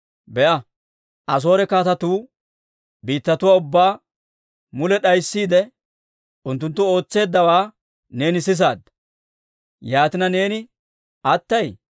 Be'a, Asoore kaatetuu biittatuwaa ubbaa mule d'ayssiide, unttunttu ootseeddawaa neeni sisaadda. Yaatina neeni attay?